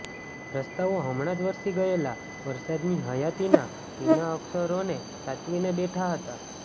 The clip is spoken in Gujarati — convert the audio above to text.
રસ્તાઓ હમણાં જ વરસી ગયેલા વરસાદની હયાતીના ભીના અક્ષરોને સાચવીને બેઠા હતા